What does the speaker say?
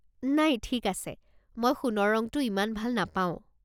নাই ঠিক আছে, মই সোণৰ ৰঙটো ইমান ভাল নাপাওঁ।